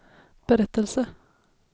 berättelse